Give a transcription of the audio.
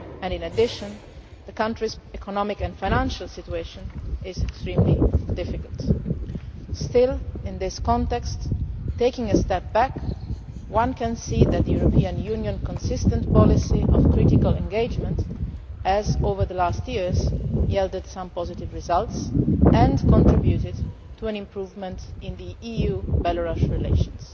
In addition, the country's economic and financial situation is extremely difficult. Still, in this context and taking a step back, one can see that the European Union's consistent policy of critical engagement over recent years has yielded some positive results and contributed to an improvement in EU Belarus relations.